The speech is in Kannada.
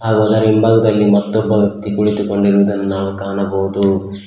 ಅದರ ಹಿಂಭಾಗದಲ್ಲಿ ಮತ್ತೊಬ್ಬ ವ್ಯಕ್ತಿ ಕುಳಿತುಕೊಂಡೊರುವುದನ್ನು ನಾವು ಕಾಣಬಹುದು.